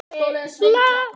Eftir leikinn?